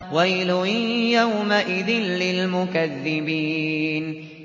وَيْلٌ يَوْمَئِذٍ لِّلْمُكَذِّبِينَ